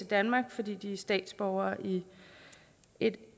danmark fordi de er statsborgere i et